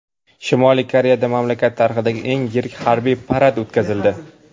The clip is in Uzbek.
Shimoliy Koreyada mamlakat tarixidagi eng yirik harbiy parad o‘tkazildi .